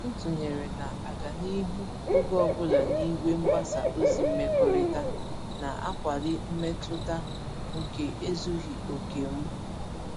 Ntụnyere na-aga n'ihu oge ọbula n'igwe mgbasa ozi mmekọrịta, na-akwali mmetụta nke ezughị oke m.